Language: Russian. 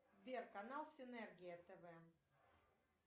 сбер канал синергия тв